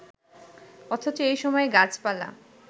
অথচ এই সময়ে গাছপালা